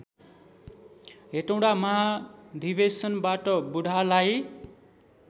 हेटौँडा महाधिवेशनबाट बुढालाई